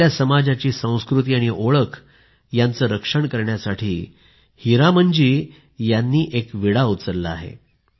आपल्या समाजाची संस्कृती आणि ओळख यांचं रक्षण करण्यासाठी हीरामनजी यांनी एक विडा उचलला आहे